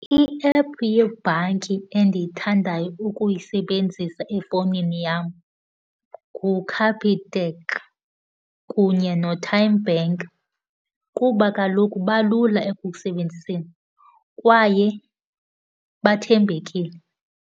I-app yebhanki endiyithandayo ukuyisebenzisa efowunini yam nguCapitec kunye noTymeBank kuba kaloku balula ekukusebenziseni kwaye bathembekile.